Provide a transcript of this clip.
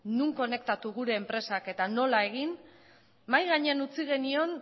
non konektatu gure enpresak eta nola egin mahai gainean utzi genion